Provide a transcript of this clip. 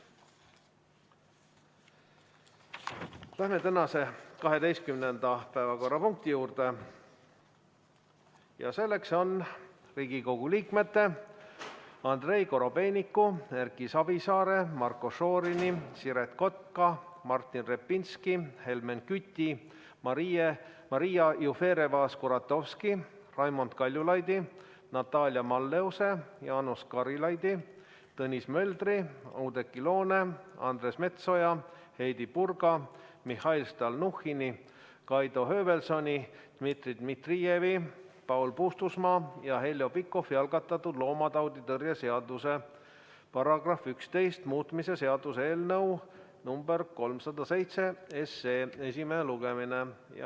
Läheme tänase 12. päevakorrapunkti juurde ja selleks on Riigikogu liikmete Andrei Korobeiniku, Erki Savisaare, Marko Šorini, Siret Kotka, Martin Repinski, Helmen Küti, Maria Jufereva-Skuratovski, Raimond Kaljulaidi, Natalia Malleuse, Jaanus Karilaidi, Tõnis Möldri, Oudekki Loone, Andres Metsoja, Heidy Purga, Mihhail Stalnuhhini, Kaido Höövelsoni, Dmitri Dmitrijevi, Paul Puustusmaa ja Heljo Pikhofi algatatud loomatauditõrje seaduse § 11 muutmise seaduse eelnõu number 307 esimene lugemine.